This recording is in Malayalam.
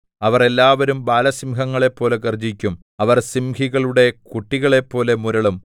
അവർ എല്ലാവരും ബാലസിംഹങ്ങളെപ്പോലെ ഗർജ്ജിക്കും അവർ സിംഹികളുടെ കുട്ടികളെപ്പോലെ മുരളും